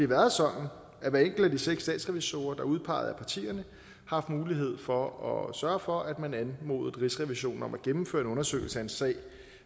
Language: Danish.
været sådan at hver enkelt af de seks statsrevisorer der er udpeget af partierne har haft mulighed for at sørge for at man anmodede rigsrevisionen om at gennemføre en undersøgelse af en sag